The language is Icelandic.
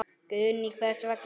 Guðný: Hvers vegna?